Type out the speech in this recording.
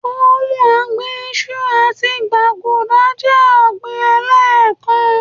Óhun ọ̀gbìn iṣu àti gbaguda jẹ́ ọ̀gbín ẹ̀lẹ́kán